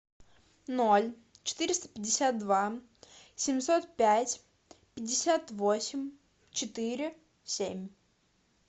ноль четыреста пятьдесят два семьсот пять пятьдесят восемь четыре семь